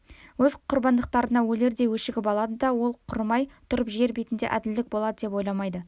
өз құрбандықтарына өлердей өшігіп алады да ол құрымай тұрып жер бетінде әділдік болады деп ойламайды